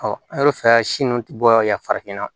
an y'o fɛɛrɛ si nun ti bɔ yan farafinna